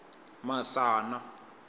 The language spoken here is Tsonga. masana